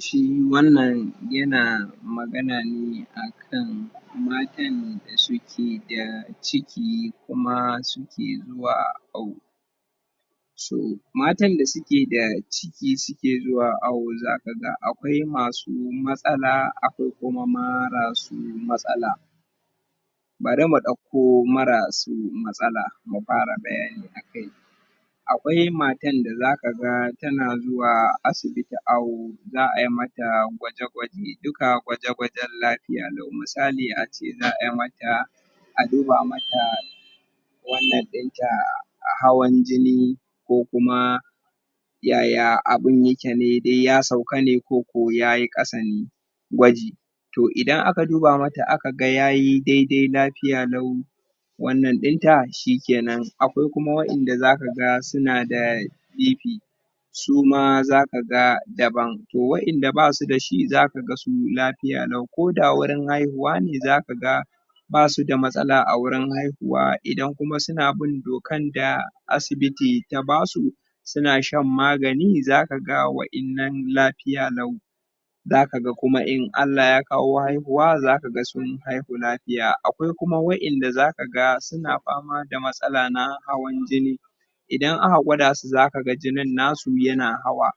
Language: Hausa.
shi wannan yana magana ne akan matan da suke da ciki kuma suke zuwa awo so matan da suke da ciki suke zuwa awo za ka ga akwai masu matsala akwai kuma mara su masala bari mudauko mara su matsala mu fara bayani a kai akwai matan da za ka ga ta na zuwa asibiti awo za'a yi mata gwaje gwaje duka gwaje gwajen lafiya lau misali a ce za'a mata a duba mata wannan din ta hawan jini ko kuma yaya abin ne yake ya sauka ne ko ko ya yi kasan gwaji toh idan aka duba mata aka ga ya yi dai dai lafiya lau wannan din ta shi ke nan akwai kuma wa'yanda za ka ga su na da bp suma za ka ga daban toh wa'yanda ba su da shi za ka ga su lafiya lauko da wurinhaihuwa ne za ka ga basu da matsala a wurin haihuwaidan kuma suna bin dokan da asibiti ta basu sunashanmagani za ka ga wayannan lafiya lau zaka ga kuma in Allah yakawo haihuwa za ka ga sunhaihu lafiya akwaikuma wayanda za ka ga suna fama da matsala na hawan jini idan aka gwada su za ka ga jinin na su yana hawa